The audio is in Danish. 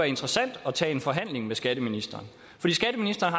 interessant at tage en forhandling med skatteministeren fordi skatteministeren